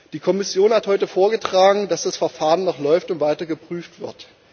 Die Kommission hat heute vorgetragen, dass das Verfahren noch läuft und weiter geprüft wird.